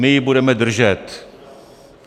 My ji budeme držet.